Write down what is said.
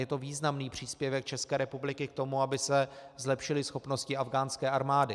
Je to významný příspěvek České republiky k tomu, aby se zlepšily schopnosti afghánské armády.